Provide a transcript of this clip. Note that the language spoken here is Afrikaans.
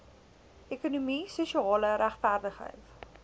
ekonomie sosiale regverdigheid